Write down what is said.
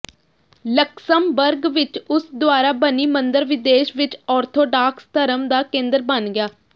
Luxembourg ਵਿਚ ਉਸ ਦੁਆਰਾ ਬਣੀ ਮੰਦਰ ਵਿਦੇਸ਼ ਵਿਚ ਆਰਥੋਡਾਕਸ ਧਰਮ ਦਾ ਕੇਂਦਰ ਬਣ ਗਿਆ